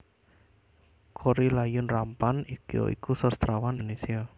Korrie Layun Rampan ya iku sastrawan Indonésia